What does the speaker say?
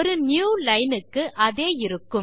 ஒரு new line க்கு அதே இருக்கும்